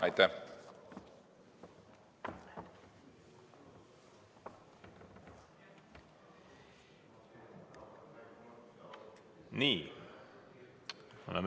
Aitäh!